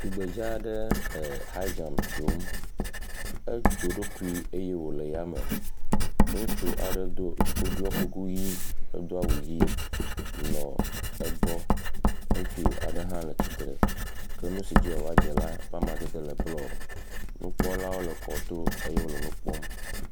Tugbedzɛ aɖe ee.. high jump dzom, edzo eɖokui eye wole yame, ŋutsu aɖe do ku ɖɔ kuku ʋi do awu ʋi nɔ egbɔ, ke ŋutsu aɖe hã le tsitre ke nu si dzi woava dze la ƒe amadede le blɔ